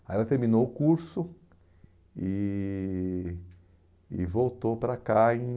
Aí ela terminou o curso e e voltou para cá em...